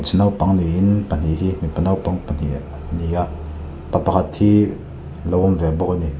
naupang niin pahnih hi mipa naupang pahnih an ni a pa pakhat hi lo awm ve bawk a ni.